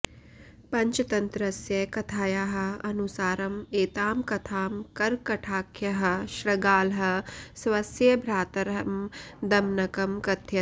पञ्चतन्त्रस्य कथायाः अनुसारम् एतां कथां करकटाख्यः शृगालः स्वस्य भ्रातरं दमनकं कथयति